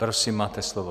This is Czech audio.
Prosím, máte slovo.